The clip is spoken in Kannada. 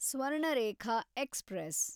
ಸ್ವರ್ಣರೇಖಾ ಎಕ್ಸ್‌ಪ್ರೆಸ್